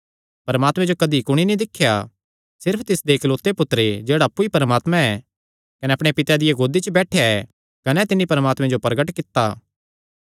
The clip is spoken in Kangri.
परमात्मे जो कदी कुणी नीं दिख्या सिर्फ तिसदे इकलौते पुत्तरें जेह्ड़ा अप्पु ई परमात्मा ऐ कने अपणे पिता दिया गोदी च बैठेया ऐ कने तिन्नी परमात्मे जो प्रगट कित्ता